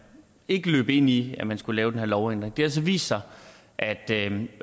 ikke løb ind i at man skulle lave den her lovændring det har så vist sig at den